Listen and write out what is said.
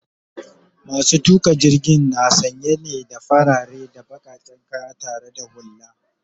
masu tuƙa jirgin na sanye ne da farare da bakaken kaya tare da hulla